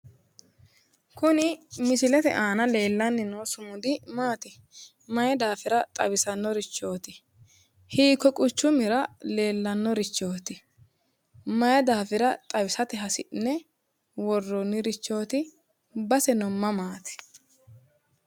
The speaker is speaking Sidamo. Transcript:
Kuni misilete aana leellanni no sumudi maati? maay daafira xawisannorichooti? Hikkuy quchumira leellannorichooti? May daafira xawisate hasi'ne worroonnirichooti? Baseno mamaati?